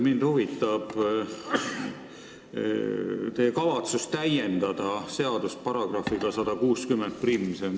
Mind huvitab teie kavatsus täiendada seadust §-ga 1601.